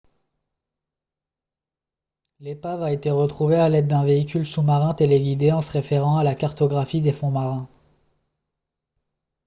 l'épave a été retrouvée à l'aide d'un véhicule sous-marin téléguidé en se référant à la cartographie des fonds marins